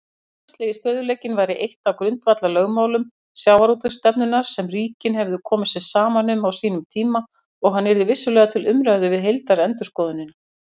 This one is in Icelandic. Hlutfallslegi stöðugleikinn væri eitt af grundvallarlögmálum sjávarútvegsstefnunnar sem ríkin hefðu komið sér saman um á sínum tíma og hann yrði vissulega til umræðu við heildarendurskoðunina.